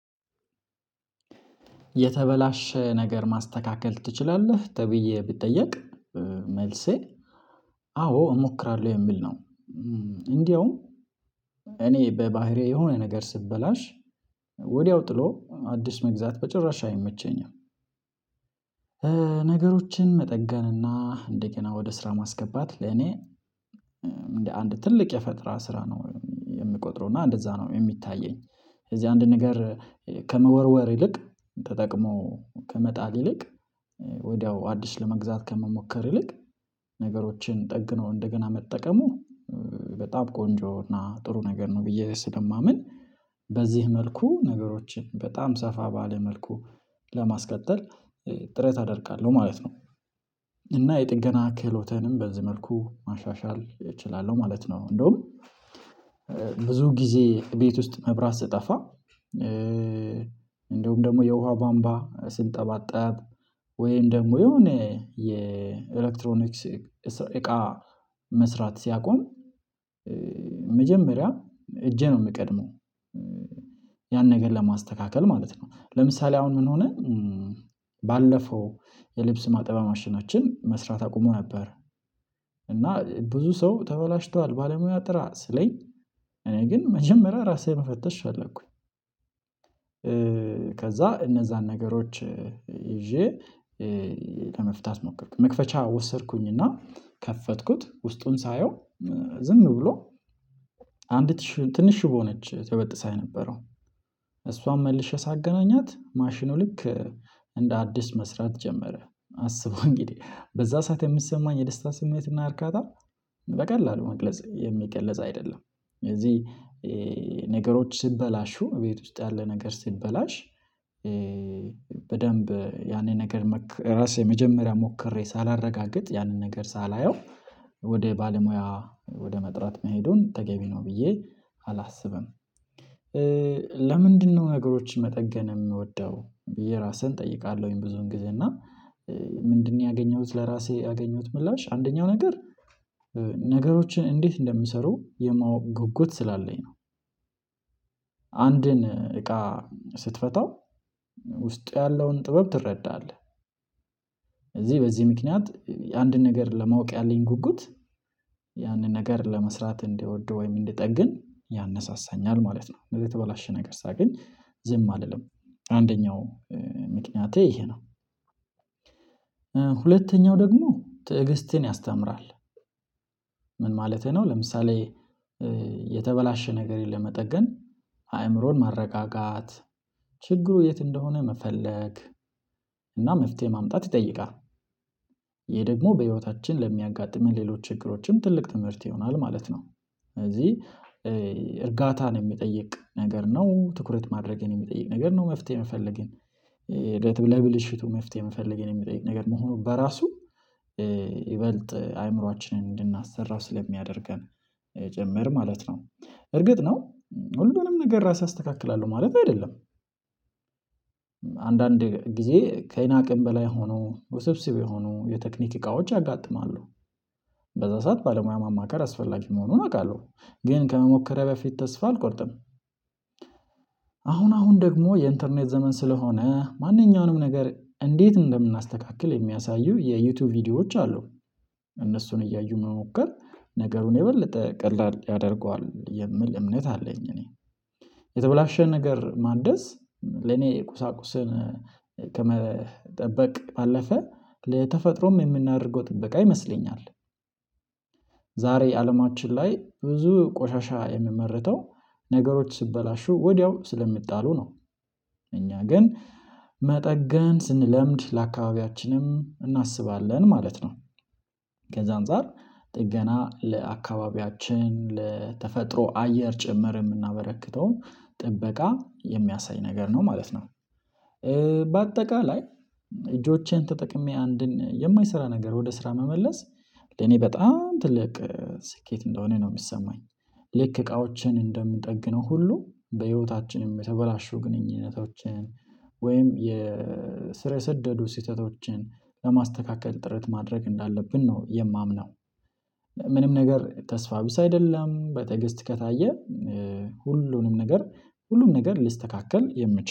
የተበላሸ ነገር ማስተካከል ትችላለህ? ተብዬ ብትጠየቅ መልሴ አዎ እሞክራለሁ የሚል ነው እንዴውም እኔ በባህሪዬ የሆነ ነገር ሲበላሽ ወዲያው ጥሎ አዲስ መግዛት በጭራሽ አይመቸኝም። ነገሮችን መጠገንና እንደገና ወደ ስራ ማስገባት ለኔ እንደ አንድ ትልቅ የፈጠራ ስራ ነው የምቆጥረው እና እንደዛ ነው የሚታየኝ እዚህ አንድ ነገር ከመወርወር ይልቅ ተጠቅሞ ከመጣል ይልቅ ወዲያው አዲስ ለመግዛት ከመሞከር ይልቅ ነገሮችን ጠግኖ እንደገና መጠቀሙ በጣም ቆንጆ እና ጥሩ ነገር ነው ብዬ ስለማምን በዚህ መልኩ ነገሮችን በጣም ሰፋ ባለ መልኩ ለማስቀጠል ጥሬት አደርጋለሁ ማለት ነው። እና የጥገና ክህሎትንም በዚህ መልኩ ማሻሻል እችላለሁ ማለት ነው እንዴውም ብዙ ጊዜ ቤት ውስጥ መብራት ስጠፋ እንደሁም ደግሞ የውሃ ባምባ ስንጠባጠብ ወይም ደግሞ የሆነ የኤሌክትሮኒክስ እቃ መስራት ሲያቆም መጀመሪያ እጄ ነው የሚቀድመው ያን ነገር ለማስተካከል ማለት ነው። ለምሳሌ አሁን ምን ሆነ ባለፈው የልብስ ማጠቢያ ማሽናችን መስራት አቁሞ ነበር እና ብዙ ሰው ተበላሽቷል ባለሙያ ጥራ ሲለኝ እኔ ግን መጀመሪያ ራሴ መፈተሽ ፈለኩኝ ከዛ እነዛን ነገሮች ይዤ ለመፍታት ሞክርኩ መክፈቻ ወሰድኩኝና ከፈትኩት ውስጡን ሳየው ዝም ብሎ አንዲት ትንሽ ሽቦ ነች ተበጥሳ የነበረው እሷን መልሼ ሳገናኛት ማሽኑ ልክ እንደ አዲስ መስራት ጀመረ አስቡ እንግዲህ በዛ ሰዓት የምትሰማኝ የደስታ ስሜትና እርካታ በቀላሉ መግለጽ የሚገለጽ አይደለም ስለዚህ ነገሮች ሲበላሹ እቤት ውስጥ ያለ ነገር ሲበላሽ በደንብ ያንን ነገር ራሴ መጀመሪያ ሞክሬ ሳላረጋግጥ ያንን ነገር ሳላየው ወደ ባለሙያ ወደ መጥራት መሄዱን ተገቢ ነው ብዬ አላስብም። ለምንድነው ነገሮችን መጠገን የምወደው ብዬ ራስህን እጠይቃለሁኝ ብዙን ጊዜ እና ምንድነው ያገኘሁት ለራሴ ያገኘሁት ምላሽ አንደኛው ነገር ነገሮችን እንዴት እንደሚሰሩ የማወቅ ጉጉት ስላለኝ ነው። አንድን እቃ ስትፈታው ውስጥ ያለውን ጥበብ ትረዳለህ። በዚህ በዚህ ምክንያት አንድን ነገር ለማወቅ ያለኝ ጉጉት ያንን ነገር ለመስራት እንድወድ ወይም እንድጠግን ያነሳሳኛል ማለት ነው። ስለዚህ የተበላሸ ነገር ሳገኝ ዝም አልልም አንደኛው ምክንያቴ ይሄ ነው። ሁለተኛው ደግሞ ትዕግስትን ያስተምራል። ምን ማለቴ ነው ለምሳሌ የተበላሸ ነገር ለመጠገን አእምሮን ማረጋጋት ችግሩ የት እንደሆነ መፈለግ እና መፍትሄ ማምጣት ይጠይቃል። ይሄ ደግሞ በህይወታችን ለሚያጋጥሙን ሌሎች ችግሮችም ትልቅ ትምህርት ይሆናል ማለት ነው ስለዚህ እርጋታን የሚጠይቅ ነገር ነው ትኩረት ማድረግን የሚጠይቅ ነገር ነው መፍትሄ የምፈልግን ለብልሽቱ መፍትሄ የሚፈልግን የሚጠይቅ ነገር መሆኑ በራሱ ይበልጥ አእምሮአችንን እንድናሰራ ስለሚያደርገን ጭምር ማለት ነው። እርግጥ ነው ሁሉንም ነገር ራስ አስተካክላለሁ ማለት አይደለም። አንዳንድ ጊዜ ከእኔ አቅም በላይ ሆኖ ውስብስብ የሆኑ የቴክኒክ እቃዎች ያጋጥማሉ። በዛ ሰዓት ባለሙያ ማማከር አስፈላጊ መሆኑን አውቃለሁ ግን ከመሞከሬ በፊት ተስፋ አልቆርጥም። አሁን አሁን ደግሞ የኢንተርኔት ዘመን ስለሆነ ማንኛውንም ነገር እንዴት እንደምናስተካክል የሚያሳዩ የዩቲዩብ ቪዲዮዎች አሉ። እነሱን እያዩ መሞከር ነገሩን የበለጠ ቀላል ያደርገዋል የሚል እምነት አለኝ እኔ የተበላሸ ነገር ማደስ ለኔ ቁሳቁስን ከመጠበቅ ባለፈ ለተፈጥሮም የምናደርገው ጥበቃ ይመስለኛል። ዛሬ አለማችን ላይ ብዙ ቆሻሻ የሚመርተው ነገሮች ሲበላሹ ወዲያው ስለሚጣሉ ነው እኛ ግን መጠገን ስንለምድ ለአካባቢያችንም እናስባለን ማለት ነው። ከዛ አንፃር ጥገና ለአካባቢያችን ለተፈጥሮ አየር ጭምር የምናበረክተውን ጥበቃ የሚያሳይ ነገር ነው ማለት ነው። በአጠቃላይ እጆቼን ተጠቅሜ አንድን የማይሰራ ነገር ወደ ስራ መመለስ እኔ በጣም ትልቅ ስኬት እንደሆነ ነው የሚሰማኝ። ልክ እቃዎችን እንደምንጠግነው ሁሉ በህይወታችንም የተበላሹ ግንኙነቶችን ወይም የ ስር የሰደዱ ስህተቶችን ለማስተካከል ጥረት ማድረግ እንዳለብን ነው የማምነው። ምንም ነገር ተስፋ ቢስ አይደለም በትዕግስት ከታየ ሁሉም ነገር ሁሉም ነገር ሊስተካከል የሚችለው